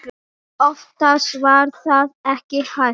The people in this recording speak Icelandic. Oftast var það ekki hægt.